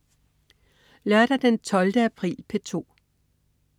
Lørdag den 12. april - P2: